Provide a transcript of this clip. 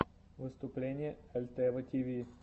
выступление альтева тиви